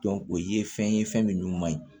o ye fɛn ye fɛn min man ɲi